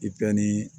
I bɛ ni